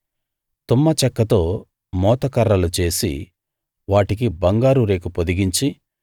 తుమ్మ చెక్కతో మోతకర్రలు చేసి వాటికి బంగారు రేకు పొదిగించి